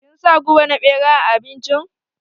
Kin sa guba na ɓera a abincin?